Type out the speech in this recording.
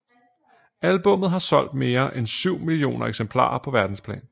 Albummet har solgt mere en syv millioner eksemplarer på verdensplan